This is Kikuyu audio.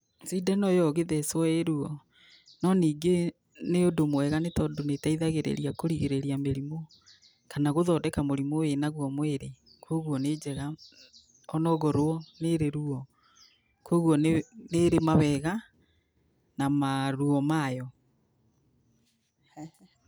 Cindano ĩyo ũngĩthecwo ĩruo nonyingĩ nĩũndũ mwega nĩtondũ nĩĩteithagia kũrigĩrĩria mĩrimũ kana gũthondeka mũrimũ wĩnagwo mwĩrĩ. Kwogwo nĩnjega onokorwo nĩrĩ ruo. Kuogwo nĩrĩ mawega na maruo mayo.